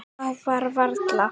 Það var varla.